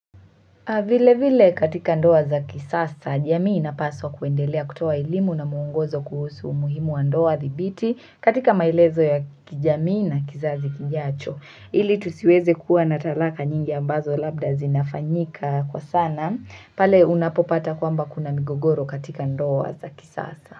Vile vile katika ndoa za kisasa, jamii na paswa kuendelea kutoa elimu na muungozo kuhusu umuhimu wa ndoa thibiti, katika mailezo ya kijamii na kizazi kijacho. Ili tusiweze kuwa na talaka nyingi ambazo labda zinafanyika kwa sana, pale unapopata kwamba kuna migogoro katika ndoa za kisasa.